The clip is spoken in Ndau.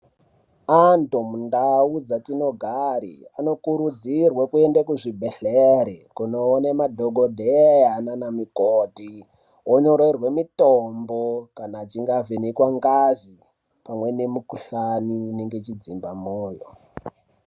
Antu mundau dzatinogara anokurudzirwa kuenda kuzvibhedhleya kunoona madhokodheya naana mukoti onyorerwa mitombo kana achinge avhenekwa ngazi pamwe nemikuhlani inodzimba mwoyo.